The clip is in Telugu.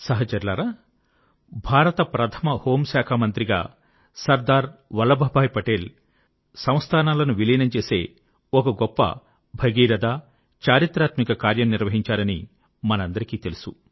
సహచరులారా భారత ప్రథమ హోం శాఖ మంత్రిగా సర్దార్ వల్లభభాయి పటేల్ సంస్థానాలను విలీనం చేసే ఒక గొప్ప భగీరథ చారిత్రాత్మక కార్యం నిర్వహించారని మనకందరికీ తెలుసు